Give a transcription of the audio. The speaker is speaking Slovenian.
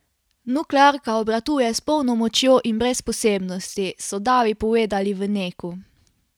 Nuklearka obratuje s polno močjo in brez posebnosti, so davi povedali v Neku.